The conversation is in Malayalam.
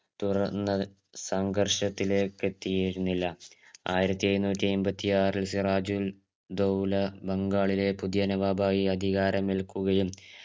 തുറന്ന് അത് സങ്കർഷത്തിലേക്ക് എത്തിയിരുന്നില്ല ആയിരത്തി എഴുന്നൂറ്റി ഐമ്പത്തിയാറിൽ സിറാജുൽ ധൗല ബംഗാളിലെ പുതിയ നവാബായി അധികാരമേൽകുകയും